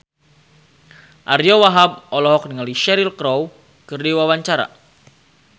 Ariyo Wahab olohok ningali Cheryl Crow keur diwawancara